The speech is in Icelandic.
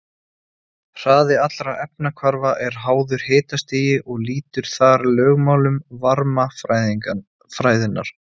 Hraði allra efnahvarfa er háður hitastigi og lýtur þar lögmálum varmafræðinnar.